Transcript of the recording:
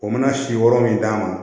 O mana si yɔrɔ min d'a ma